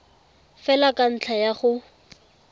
fela ka ntlha ya go